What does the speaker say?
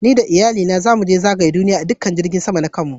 Ni da Iyalli na zamu je zagaya dukan duniyyan a jirigin sama na kanmu.